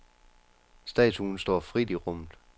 Statuen står frit i rummet.